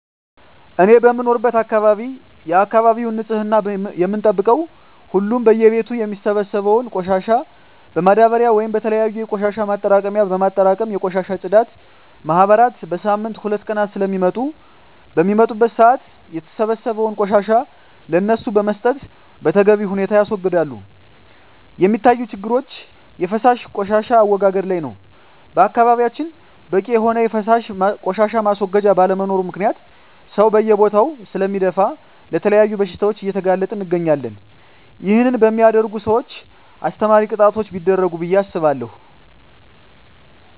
እኔ በምኖርበት አካባቢ የአካባቢውን ንፅህና የምንጠብቀው ሁሉም በየ ቤቱ የሚሰበሰበውን ቆሻሻ በማዳበርያ ወይም በተለያዩ የቆሻሻ ማጠራቀሚያ በማጠራቀም የቆሻሻ የፅዳት ማህበራት በሳምንት ሁለት ቀናት ስለሚመጡ በሚመጡበት ሰአት የተሰበሰበውን ቆሻሻ ለነሱ በመስጠት በተገቢ ሁኔታ ያስወግዳሉ። የሚታዪ ችግሮች የፈሳሽ ቆሻሻ አወጋገድ ላይ ነው በአካባቢያችን በቂ የሆነ የፈሳሽ ቆሻሻ ማስወገጃ ባለመኖሩ ምክንያት ሰው በየቦታው ስለሚደፍ ለተለያዩ በሽታዎች እየተጋለጠን እንገኛለን ይህን በሚያደርጉ ሰውች አስተማሪ ቅጣቶች ቢደረጉ ብየ አስባለሁ።